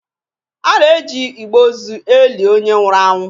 A na-eji igbe ozu e li onye nwụrụ anwụ.